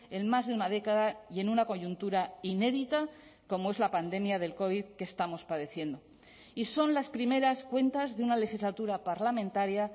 en más de una década y en una coyuntura inédita como es la pandemia del covid que estamos padeciendo y son las primeras cuentas de una legislatura parlamentaria